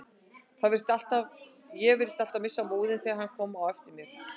Ég virtist alltaf missa móðinn þegar hann kom á eftir mér.